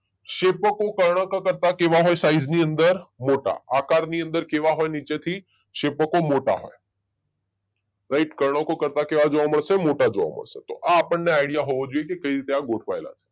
શેપકો કર્ણકો કરતા કેવા હોય સાઈઝની અંદર? મોટા. આકારની અંદર કેવા હોય નીચેથી શેપકો? મોટા હોય. રાઈટ કર્ણકો કરતા કેવા જોવા મળશે? મોટા જોવા મળશે તો આપણને આઈડિયા હોવો જોઈએ કઈ રીતે આ ગોઠવાયા છે